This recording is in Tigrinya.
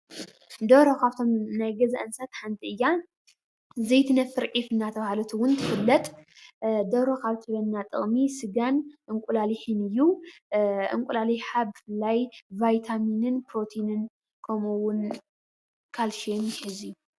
ደርሆ ካብቶም ናይ ገዛ እንስሳት ሓንቲ እያ፡፡ ዘይትነፍር ዒፍ እንዳተባሃለት እውን ትፍለጥ፡፡ ደርሆ ካብ እትህበና ጥቅሚ ስጋን እንቁላሊሕን እዩ፡፡ እንቁላሊሓ ብፍላይ ብቫይታሚናን ፕሮቲንን ከምኡ እውን ካልሽየም ይሕዝ እዩ፡፡